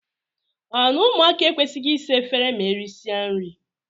O na - ụmụaka ekwesịghị ịsa efere ma erịsịa nrị?